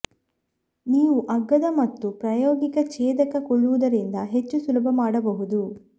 ನೀವು ಅಗ್ಗದ ಮತ್ತು ಪ್ರಾಯೋಗಿಕ ಛೇದಕ ಕೊಳ್ಳುವುದರಿಂದ ಹೆಚ್ಚು ಸುಲಭ ಮಾಡಬಹುದು